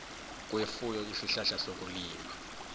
kwefuyo isihlahla sokulima